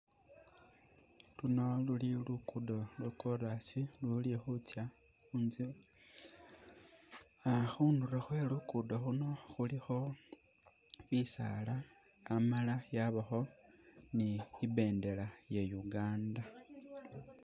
Luno luli luguddo lwa'chorus luli khutsa inje aah khundulo khwe luguddo luuno khulikho bisaala Amala yabakho ni ibendela iye Uganda